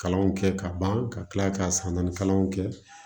Kalanw kɛ ka ban ka tila ka san naani kalanw kɛ